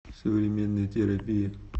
современная терапия